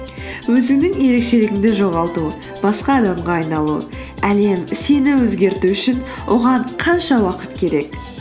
өзіңнің ерекшелігіңді жоғалту басқа адамға айналу әлем сені өзгерту үшін оған қанша уақыт керек